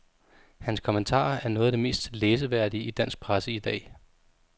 Hans kommentarer er noget af det mest læseværdige i dansk presse i dag.